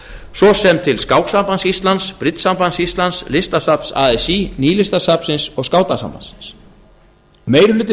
svo sem til skáksambands íslands bridgesambands íslands listasafns así nýlistasafnsins og skátasambandsins meiri hluti